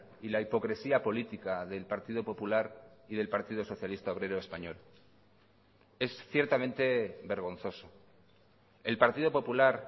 y la hipocresía política del partido popular y del partido socialista obrero español es ciertamente vergonzoso el partido popular